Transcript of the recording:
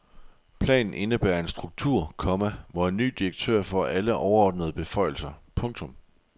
Planen indebærer en struktur, komma hvor en ny direktør får alle overordnede beføjelser. punktum